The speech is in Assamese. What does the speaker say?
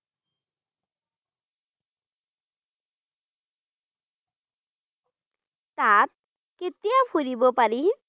তাত কেতিয়া ফুৰিব পাৰিম?